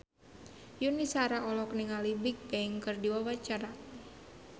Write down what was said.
Yuni Shara olohok ningali Bigbang keur diwawancara